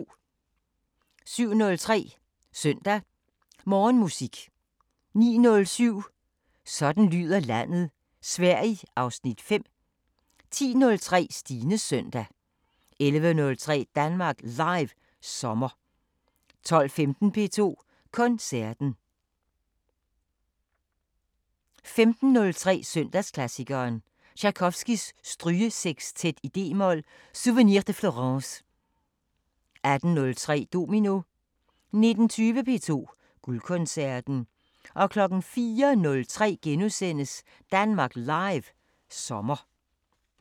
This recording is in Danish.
07:03: Søndag Morgenmusik 09:07: Sådan lyder landet: Sverige (Afs. 5) 10:03: Stines Søndag 11:03: Danmark Live sommer 12:15: P2 Koncerten 15:03: Søndagsklassikeren – Tjajkovskij: Strygesexstet d-mol "Souvenir de Florence" 18:03: Domino 19:20: P2 Guldkoncerten 04:03: Danmark Live sommer *